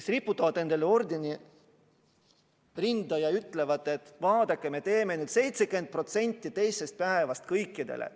Nad riputavad endale ordeni rinda ja ütlevad, et vaadake, me maksame nüüd 70% teisest päevast kõikidele.